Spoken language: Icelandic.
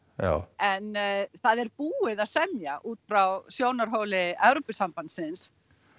en það er búið að semja út frá sjónarhorni Evrópusambandsins